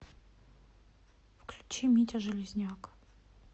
включи митя железняк